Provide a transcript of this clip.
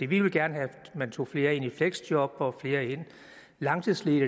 vi vil gerne have at man tager flere i fleksjob og flere langtidsledige